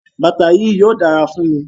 Bata yii yóò dara fun mi.